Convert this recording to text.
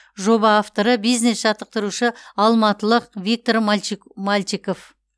жоба авторы бизнес жаттықтырушы алматылық виктор мальчиков